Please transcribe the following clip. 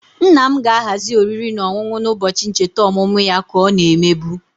Nna m ga-ahazi oriri na ọṅụṅụ na-ụbọchị ncheta ọmụmụ ya ka ọ na-emebu